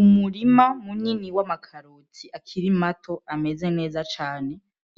Umurima munini w'amakarotsi akira imato ameze neza cane